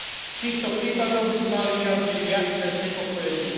V týchto prípadoch by sme mali vyjadriť jasné znepokojenie.